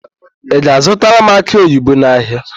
Ị ga-azụtara m akị oyibo n'ahịa?